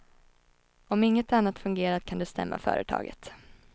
Om inget annat fungerat kan du stämma företaget.